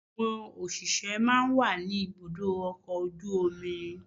Àwọn òṣìṣẹ́ máa ń wà ní ibùdó ọkọ̀ ojú omi.